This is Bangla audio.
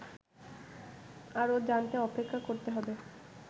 আরও জানতে অপেক্ষা করতে হবে